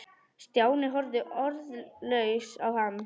Stjáni horfði orðlaus á hann.